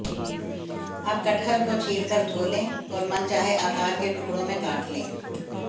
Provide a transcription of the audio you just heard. अब कटहल को छीलकर धो लें और मनचाहे आकार के टुकड़ों में काट लें